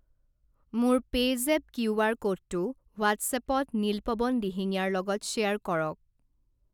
মোৰ PayZapp QR ক'ডটো হোৱাট্ছএপত নীলপৱন দিহিঙীয়াৰ লগত শ্বেয়াৰ কৰক।